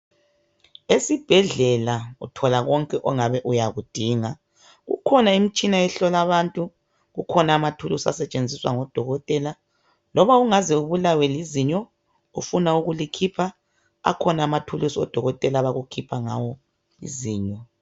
Esibhedlela uthola konke ongabe uyakudinga , kukhona imitshina ehlola abantu, kukhona imitshina esetshenziswa ngodokotela. Loba ungaze ubulawe lizinyo ufuna ukulikhipha akhona amathulusi odokotela abakukhipha ngawo izinyo.